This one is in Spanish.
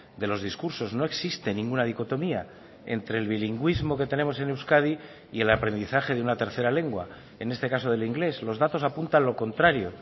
de los discursos no existe ninguna dicotomía entre el bilingüismo que tenemos en euskadi y el aprendizaje de una tercera lengua en este caso del inglés los datos apuntan lo contrario